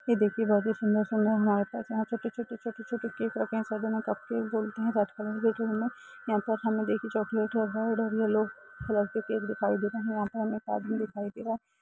ये देखिये बहोत ही सुन्दर-सुन्दर हमारे पास यहाँ छोटे-छोटे छोटे-छोटे केक रखे हैं। सब इन्हे कप केक बोलते है। रेड कलर की ट्रे में। यहाँ पर हमे देखे चॉकलेट और येलो कलर के केक दिखाई दे रहे हैं। यहाँ पे हमे एक आदमी दिखाई दे रहा है।